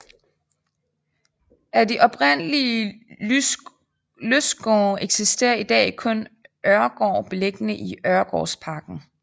Af de oprindelige lystgårde eksisterer i dag kun Øregaard beliggende i Øregårdsparken